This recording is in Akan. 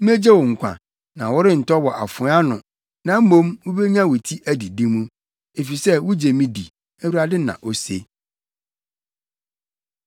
Megye wo nkwa, na worentɔ wɔ afoa ano na mmom wubenya wo ti adidi mu, efisɛ wugye me di, Awurade, na ose.’ ”